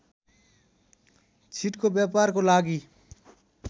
छिटको व्यापारको लागि